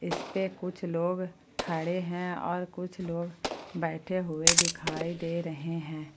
इस पे कुछ लोग खड़े है और कुछ लोग बैठे हुए दिखाई दे रहे है।